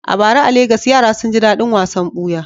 A bara a Legas, yara sun ji daɗin wasan buya.